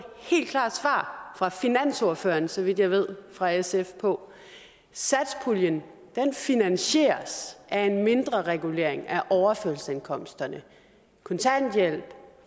helt klart svar fra finansordføreren så vidt jeg ved fra sf på satspuljen finansieres af en mindreregulering af overførselsindkomsterne kontanthjælp